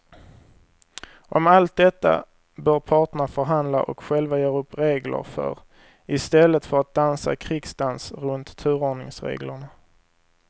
Om allt detta bör parterna förhandla och själva göra upp regler för i stället för att dansa krigsdans runt turordningsreglerna.